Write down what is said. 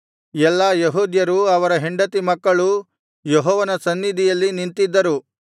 ಎಲ್ಲಾ ಯೆಹೂದ್ಯರೂ ಅವರ ಹೆಂಡತಿ ಮಕ್ಕಳೂ ಯೆಹೋವನ ಸನ್ನಿಧಿಯಲ್ಲಿ ನಿಂತಿದ್ದರು